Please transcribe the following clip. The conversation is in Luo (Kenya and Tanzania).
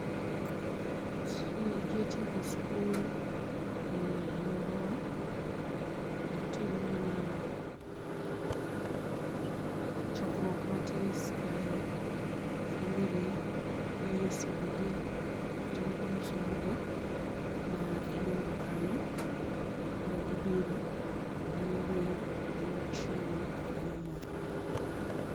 Tije tieko skul e aluorawa, watimo mana chokruok matis kae, family gi osiepe gi kata moko mi isomo go iluongo kanyo, koro gibiro to dhano wer, to dhano chiemo to dhano mor.